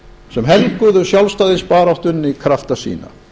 sem helguðu sjálfstæðisbaráttunni krafta sína